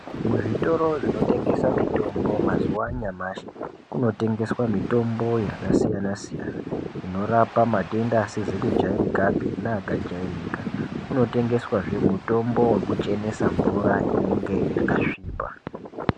Muzvitoro zvinotengese mitombo mazuwa anyamashi kuno tengeswe mitombo yakasiyanasiyana inorapa matenda asizikujairikapi neakajairika kunotengeswazve mutombo wekuchenesa mvura inonga yakasvipa.